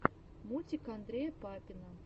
мультик андрея папина